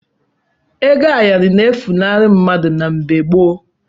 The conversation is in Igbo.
Ego ayọrọ na-efunahụ mmadụ na mfe mgbw gboo.